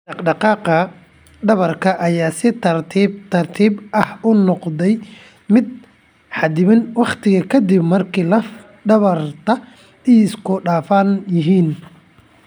Dhaqdhaqaaqa dhabarka ayaa si tartiib tartiib ah u noqda mid xaddidan waqti ka dib marka laf dhabarta ay isku dhafan yihiin.